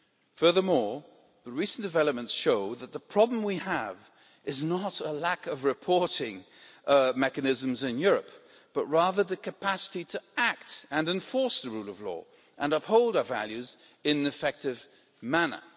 Furthermore, the recent developments show that the problem we have is not a lack of reporting mechanisms in Europe, but rather a lack of capacity to act and enforce the rule of law and uphold our values in an effective manner.